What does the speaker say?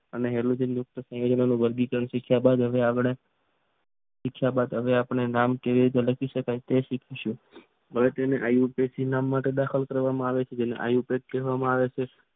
સંયોજનો હવે તેને ઇથીલ ના દાખલ કરવામાં આવે છે તેને આઈલસન કહેવામાં આવે છે.